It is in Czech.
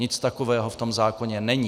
Nic takového v tom zákoně není.